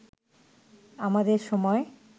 আমাদের সময়